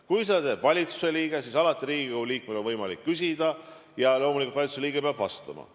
Kui jutt on valitsuse liikmest, siis alati Riigikogu liikmel on võimalik temalt aru pärida ja loomulikult valitsuse liige peab vastama.